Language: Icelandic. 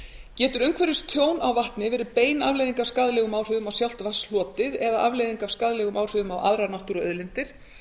getur umhverfistjón á vatni verið bein afleiðing af skaðlegum áhrifum á sjálft vatnshlotið eða afleiðing af skaðlegum áhrifum á aðrar náttúruauðlindir